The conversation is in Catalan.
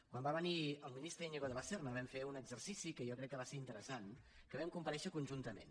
quan va venir el ministre íñigo de la serna vam fer un exercici que jo crec que va ser interessant vam comparèixer conjuntament